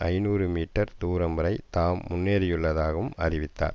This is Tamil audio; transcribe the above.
ஐநூறு மீட்டர் தூரம் வரை தாம் முன்னேறியுள்ளதாகவும் அறிவித்தார்